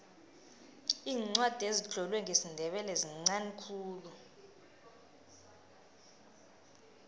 iincwadi ezitlolwe ngesindebele zinqani khulu